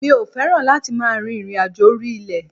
Mi ò fẹ́ràn láti máa rìnrìnàjò orí ilẹ̀.